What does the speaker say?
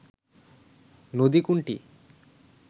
নদী কোনটি